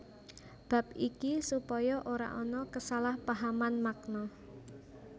Bab iki supaya ora ana kesalahpahaman makna